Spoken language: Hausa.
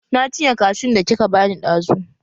Na cinye kashun da kika bani ɗazu.